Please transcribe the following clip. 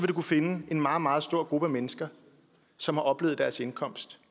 du kunne finde en meget meget stor gruppe af mennesker som har oplevet at deres indkomst